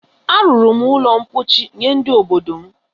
A rụrụ m ụlọ ḿkpóchí nye ndị obodo m